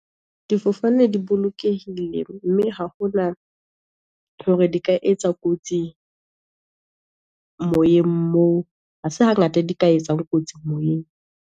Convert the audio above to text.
Difofane di bolokehile, mme ha hona hore di ka etsa kotsi moyeng moo. Ha se hangata di ka etsang kotsi moyeng.